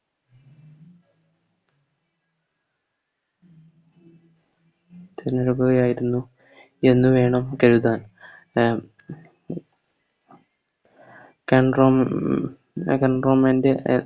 തിരഞ്ഞെടുക്കുകയായിരുന്നു എന്ന് വേണം കരുതാൻ ഞാ ൻറെ